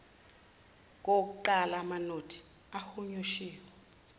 kowokuqala amanothi ahunyushiwe